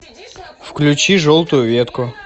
включи желтую ветку